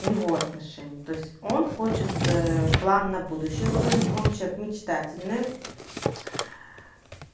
его отношения то есть он хочет план на будущее строить он человек мечтательный